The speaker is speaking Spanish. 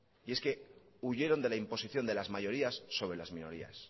y es que huyeron de la imposición de las mayorías sobre las minorías